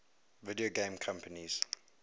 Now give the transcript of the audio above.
video game companies